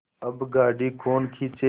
अब गाड़ी कौन खींचे